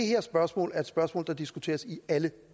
her spørgsmål er et spørgsmål der diskuteres i alle